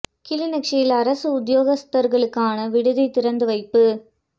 கிளிநொச்சியில் அரச உத்தியோகத்தர்களுக்கான விடுதி திறந்து வைப்பு